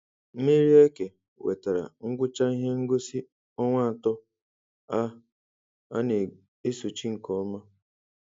Mmeri Eke wetara ngwụcha ihe ngosi ọnwa atọ a a na-esochi nke ọma.